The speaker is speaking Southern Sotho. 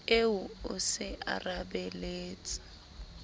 eo o se a rapaletse